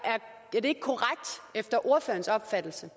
er det efter ordførerens opfattelse